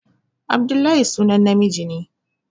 Abdullahi sunan namiji